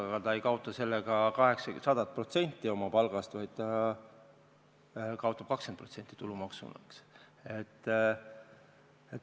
Aga ta ei kaota sellega 100% oma palgast, vaid ta kaotab 20% tulumaksu makstes.